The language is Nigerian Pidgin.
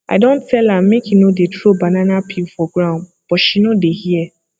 i don tell am make e no dey throw banana peel for ground but she no dey hear